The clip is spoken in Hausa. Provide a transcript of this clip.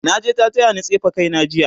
naje ta tayani tsefe kaina jiya